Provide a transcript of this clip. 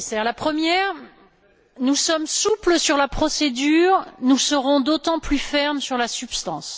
La première nous sommes souples sur la procédure, nous serons d'autant plus fermes sur la substance.